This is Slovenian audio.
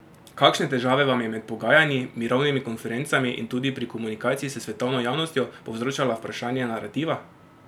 Kakšne težave vam je med pogajanji, mirovnimi konferencami in tudi pri komunikaciji s svetovno javnostjo povzročalo vprašanje narativa?